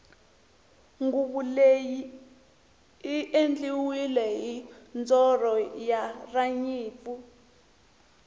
nguvu leyi i endliwile hi ndzoro ranyimpfu